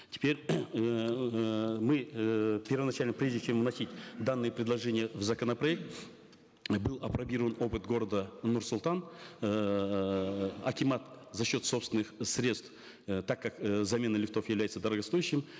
теперь мы э первоначально прежде чем вносить данные предложения в законопроект был опробирован опыт города нур султан эээ акимат за счет собственных средств э так как э замена лифтов является дорогостоящей